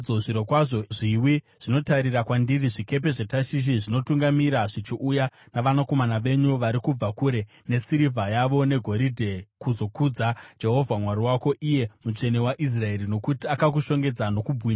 Zvirokwazvo zviwi zvinotarira kwandiri; zvikepe zveTashishi zvinotungamira zvichiuya navanakomana venyu vari kubva kure, nesirivha yavo negoridhe, kuzokudza Jehovha Mwari wako, iye Mutsvene waIsraeri, nokuti akakushongedza nokubwinya.